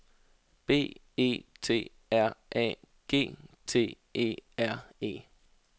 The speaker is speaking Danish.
B E T R A G T E R E